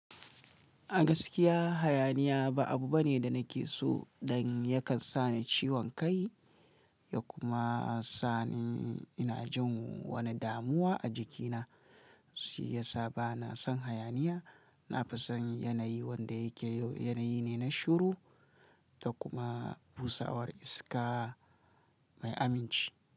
A gaskiya hayaniya ba abu bane da nake so dan yakan sa ni ciwon kai ya kuma sa ni ina jin wani damuwa a jikina. Shi yasa bana son hayaniya. Na fi son yanayi wanda yake yanayi ne na shiru da kuma busawar iska mai aminci.